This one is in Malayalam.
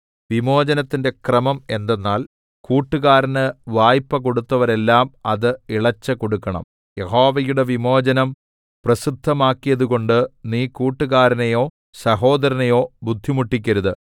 വിമോചനത്തിന്റെ ക്രമം എന്തെന്നാൽ കൂട്ടുകാരന് വായ്പ കൊടുത്തവരെല്ലാം അത് ഇളച്ച് കൊടുക്കണം യഹോവയുടെ വിമോചനം പ്രസിദ്ധമാക്കിയതുകൊണ്ട് നീ കൂട്ടുകാരനെയോ സഹോദരനെയോ ബുദ്ധിമുട്ടിക്കരുത്